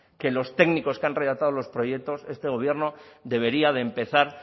que los técnicos que han relatado los proyectos este gobierno debería de empezar